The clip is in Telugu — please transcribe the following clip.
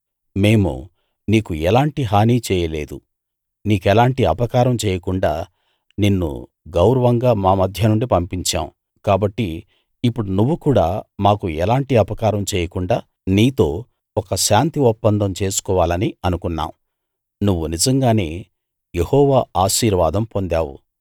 మేము నీకు ఎలాంటి హానీ చేయలేదు నీకెలాంటి అపకారం చేయకుండా నిన్ను గౌరవంగా మా మధ్యనుండి పంపించాం కాబట్టి ఇప్పుడు నువ్వు కూడా మాకు ఎలాంటి అపకారం చేయకుండా నీతో ఒక శాంతి ఒప్పందం చేసుకోవాలని అనుకున్నాం నువ్వు నిజంగానే యెహోవా ఆశీర్వాదం పొందావు